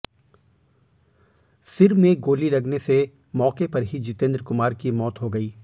सिर में गोली लगने से मौके पर ही जितेंद्र कुमार की मौत हो गई